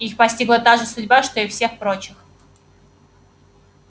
их постигла та же судьба что и всех прочих